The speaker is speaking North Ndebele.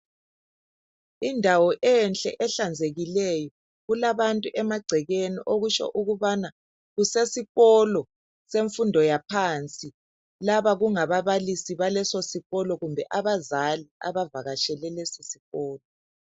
Indawo enhle ehlanzekileyo, kulabantu emagcekeni okutsho ukubana kusesikolo semfundo yaphansi, laba kungababalisi baleso sikolo kumbe abazali abavakatshele lesisikolo.